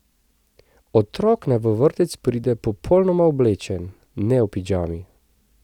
Otrok naj v vrtec pride popolnoma oblečen, ne v pižami.